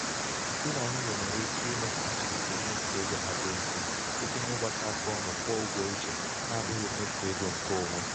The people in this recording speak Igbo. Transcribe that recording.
dị nà nwunye nwéré ike ime ka atụmatụ mmefu ego ha dị mfe site n'ịgbakọ aka ọnu kwụọ ụgwọ ichè n'abụghị mmefu ego nke onwe.